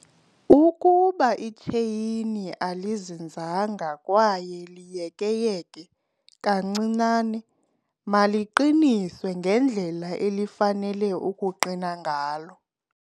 Ukuba itsheyini alizinzanga kwaye liyekeyeke kancinane maliqiniswe ngendlela elifanele ukuqina ngayo.